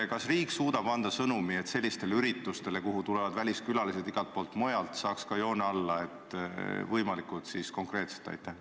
Kas riik suudab anda sõnumi, et sellistele üritustele, kuhu tulevad väliskülalised igalt poolt mujalt maailmast, saab ka kriipsu peale tõmmata võimalikult konkreetselt?